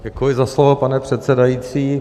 Děkuji za slovo, pane předsedající.